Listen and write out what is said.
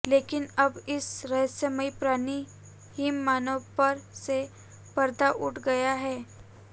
लेकिन अब इस रहस्यमयी प्राणी हिम मानव पर से पर्दा उठ गया है